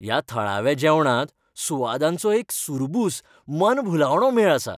ह्या थळाव्या जेवणांत सुवादांचो एक सुरबूस मनभुलावणो मेळ आसा.